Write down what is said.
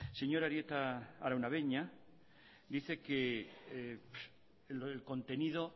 señor arieta araunabeña dice que el contenido